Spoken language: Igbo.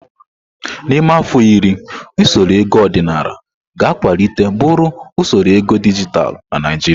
N'ime afọ iri, usoro ego ọdịnala ga-akwalite buru usoro ego dijitalụ na Naijiria.